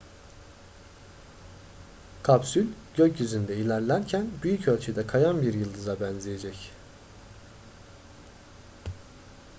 kapsül gökyüzünde ilerlerken büyük ölçüde kayan bir yıldıza benzeyecek